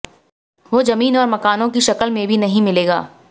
वो जमीन और मकानों की शक्ल मेें भी नहीं मिलेगा